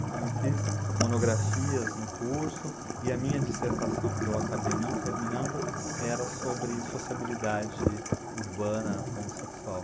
Então eu fiz monografias no curso e a minha dissertação, que eu acabei não terminando, era sobre sociabilidade urbana homossexual.